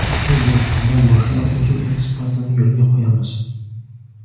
Biz yaqindan boshlab uzum eksportini yo‘lga qo‘yamiz.